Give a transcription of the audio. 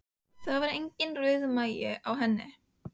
Það var enginn rauðmagi á henni.